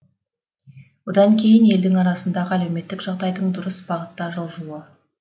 одан кейін елдің арасындағы әлеуметтік жағдайдың дұрыс бағытта жылжуы